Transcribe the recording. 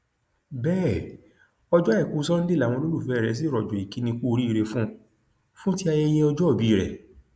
bẹẹ ọjọ àìkú sanńdé làwọn olólùfẹ rẹ sì rọjò ìkíni kù oríire fún un fún ti ayẹyẹ ọjọòbí ẹ